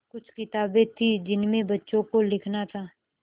कुछ किताबें थीं जिनमें बच्चों को लिखना था